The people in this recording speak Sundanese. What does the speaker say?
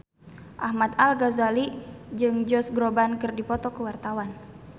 Ahmad Al-Ghazali jeung Josh Groban keur dipoto ku wartawan